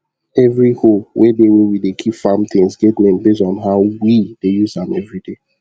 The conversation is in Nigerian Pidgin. every hoe wey dey where we dey keep farm things get name base on how we dey use am everyday